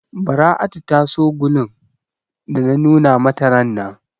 Bara'atu ta so gulun da na nuna mata rannan.